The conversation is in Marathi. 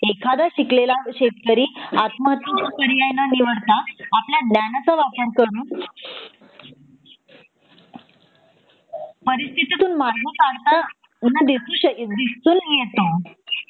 एखादा शिकलेला शेतकरी आत्महत्येचा पर्याय न निवडता आपल्या ज्ञानाचा वापर करून परिस्थितितून मार्ग काढता दिसू शकेल दिसून येतो